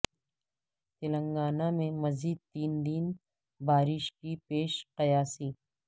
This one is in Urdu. تلنگانہ میں مزید تین دن بارش کی پیش قیاسی